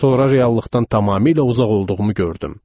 Sonra reallıqdan tamamilə uzaq olduğumu gördüm.